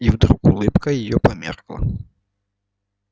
и вдруг улыбка её померкла